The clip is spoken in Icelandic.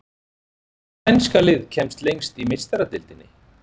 Hvaða spænska lið kemst lengst í Meistaradeildinni?